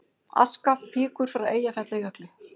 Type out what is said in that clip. Aska fýkur frá Eyjafjallajökli